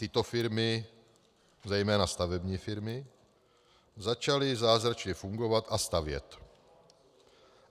Tyto firmy, zejména stavební firmy, začaly zázračně fungovat a stavět.